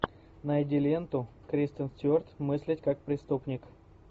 найди ленту кристен стюарт мыслить как преступник